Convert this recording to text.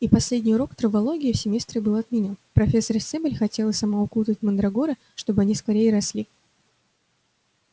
и последний урок травологии в семестре был отменён профессор стебль хотела сама укутать мандрагоры чтобы они скорее росли